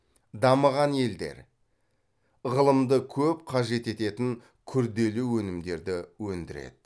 дамыған елдер ғылымды көп қажет ететін күрделі өнімдерді өндіреді